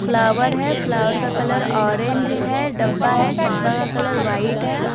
Flower है flower का colour orange है डब्बा है डब्बा का कलर वाइट है।